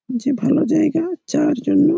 যে ভালো জায়গা চার জন্য।